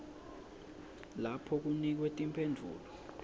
lapho kunikwe timphendvulo